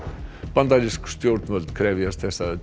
bandarísk stjórnvöld krefjast þess að